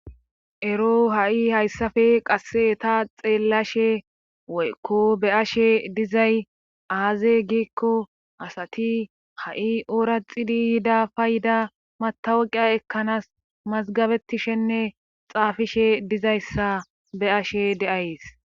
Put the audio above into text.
Ero ha7i hayssafe qasse ta xeellashe woykko be ashe dizay aaze giikko asati ha7i ooraxidi yida payda matawaqiya ekkanaas mazgabetishenne xaafishe dizayssa be ashe deays